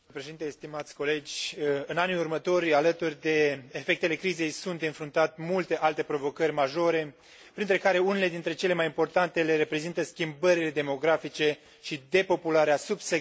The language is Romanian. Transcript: În anii următori, alături de efectele crizei, sunt de înfruntat multe alte provocări majore, printre care unele dintre cele mai importante le reprezintă schimbările demografice și depopularea subsecventă a unor regiuni.